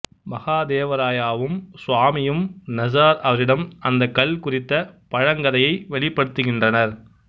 மகாதேவராயாவும் சுவாமியும் நசார் அவரிடம் அந்தக் கல் குறிந்த பழங்கதையை வெளிப்படுத்துகின்றனர்